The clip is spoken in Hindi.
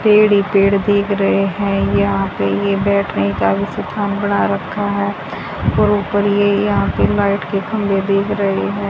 पेड़ ही पेड़ दिख रहे हैं यहां पे ये बैठने का भी स्थान बना रखा है और ऊपर ये यहां पे लाइट के खंभे दिख रहे है।